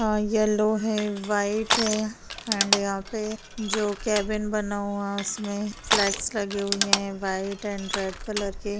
आ yellow है white है and यहां पे जो यहां केबिन बना हुआ उसमें फ्लेक्स लगे हुई हैं व्हाइट एंड रेड कलर के।